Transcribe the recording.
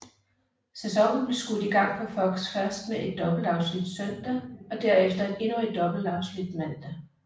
Sæsonen blev skudt i gang på Fox først med et dobbeltafsnit søndag og derefter endnu et dobbeltafsnit mandag